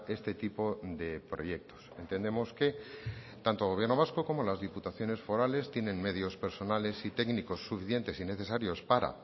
este tipo de proyectos entendemos que tanto gobierno vasco como las diputaciones forales tienen medios personales y técnicos suficientes y necesarios para